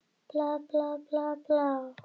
Jóhann sat í hreppsnefnd.